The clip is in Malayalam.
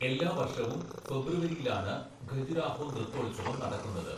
എല്ലാ വർഷവും ഫെബ്രുവരിയിലാണ് ഖജുരാഹോ നൃത്തോത്സവം നടക്കുന്നത്.